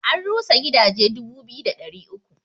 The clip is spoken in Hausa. An rusa gidaje dubu biyu da ɗari uku